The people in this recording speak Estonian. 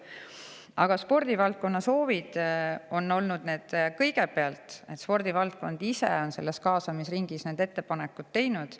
Aga eelkõige spordivaldkondade soovidega, nemad ise on kaasamisringis need ettepanekud teinud.